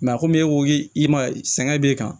a komi e ko i ma ye sɛgɛn b'i kan